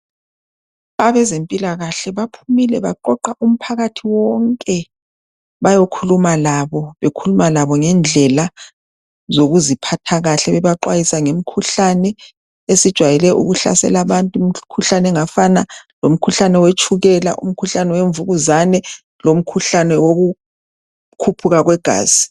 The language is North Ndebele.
Abezempilakahle baphumile baqoqa umphakathi wonke, bayokhuluma labo bekhuluma labo ngendlela zokuziphatha kahle, bebaxwayisa ngemikhuhlane esijayele ukuhlasela abantu. Imkhuhlane engafana lomkhuhlane wetshukela , umkhuhlane wemvukuzane lomkhuhlane wokukhuphuka kwegazi.